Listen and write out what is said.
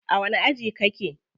A wani aji kake?